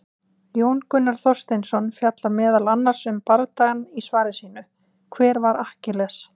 Jón Gunnar Þorsteinsson fjallar meðal annars um bardagann í svari sínu, Hver var Akkiles?